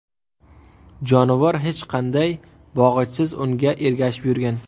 Jonivor hech qanday bog‘ichsiz unga ergashib yurgan.